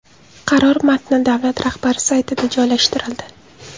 Qaror matni davlat rahbari saytida joylashtirildi.